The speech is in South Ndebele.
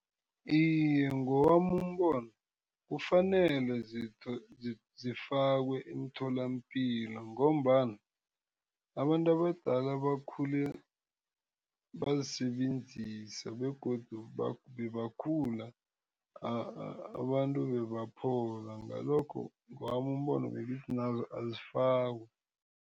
Iye, ngowami umbono kufanele zifakwe emtholampilo ngombana abantu abadala bakhule bazisebenzisa begodu bebakhula abantu bebaphola ngalokho ngowami umbono bengithi nazo azifakwe.